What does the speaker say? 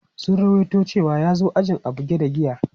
Sun ruwaito cewa ya zo ajin a buge da giya.